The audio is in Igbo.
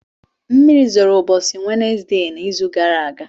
Mmiri zoro ụbọchị wednesdee na izu gara aga